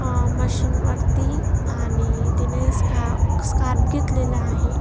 अ machine वरती आणि तिने स्का स्कार्फ घेतलेला आहे.